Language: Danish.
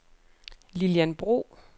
Lilian Bro